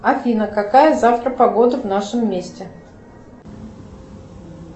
афина какая завтра погода в нашем месте